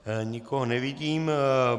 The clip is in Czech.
Nikoho nevidím.